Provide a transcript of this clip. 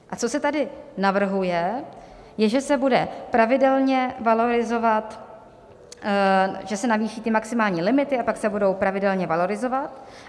A co se tady navrhuje, je, že se bude pravidelně valorizovat - že se navýší ty maximální limity a pak se budou pravidelně valorizovat.